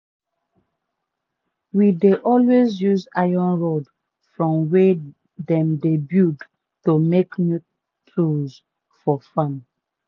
we dey always use iron rods from wey dem dey build to make new tools for farm.